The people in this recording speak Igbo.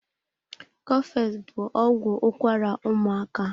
Cofex bụ ọgwụ ụkwara ụmaaka.